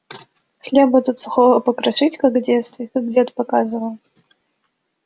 хлеба туда сухого покрошить как в детстве как дед показывал